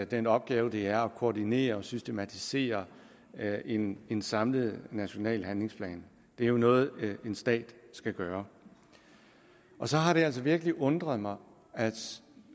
den opgave det er at koordinere og systematisere en en samlet national handlingsplan det er noget en stat skal gøre så har det altså virkelig undret mig